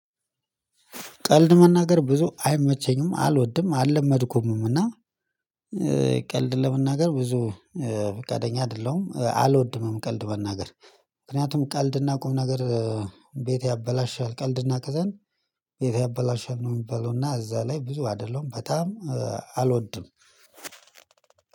ቀልድ መናገር ብዙ አይመቸኝም አልወድም አልለመድኩምም እና። ቀልድ ለመናገር ብዙ ፍቃደኛ አይደለሁም አልወድምም። ቀልድ መናገር ምክንያቱም ቀልድና ቁም ነገር። ቤት ያበላሻል ቀልድና ቅዘን ቤት ያበላሻል ነው የሚባለው። እና እዛ ላይ ብዙ አይደለሁም በጣም አልወድም።